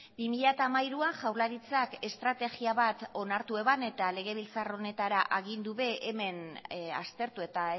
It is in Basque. bi mila hamairuan jaurlaritzak estrategia bat onartu zuen eta legebiltzar honetara agindu ere hemen aztertu eta